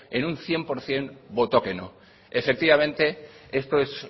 en un cien por ciento votó que no efectivamente esto es